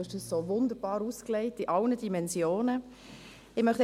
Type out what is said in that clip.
Er hat das Thema wunderbar in allen Dimensionen ausgebreitet.